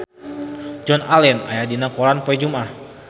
Joan Allen aya dina koran poe Jumaah